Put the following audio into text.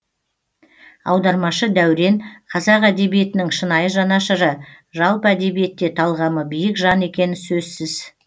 аудармашы дәурен қазақ әдебиетінің шынайы жанашыры жалпы әдебиетте талғамы биік жан екені сөзсіз